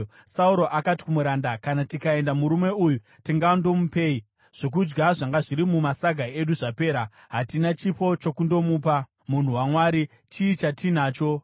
Sauro akati kumuranda, “Kana tikaenda, murume uyu tingandomupei? Zvokudya zvanga zviri mumasaga edu zvapera. Hatina chipo chokundopa munhu waMwari. Chii chatinacho?”